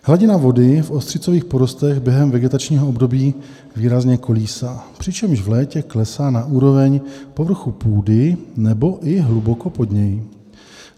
Hladina vody v ostřicových porostech během vegetačního období výrazně kolísá, přičemž v létě klesá na úroveň povrchu půdy nebo i hluboko pod něj.